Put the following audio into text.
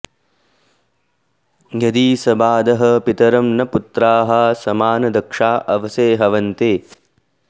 यदीं॑ स॒बाधः॑ पि॒तरं॒ न पु॒त्राः स॑मा॒नद॑क्षा॒ अव॑से॒ हव॑न्ते